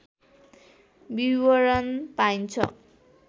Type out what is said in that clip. विवरण पाइन्छ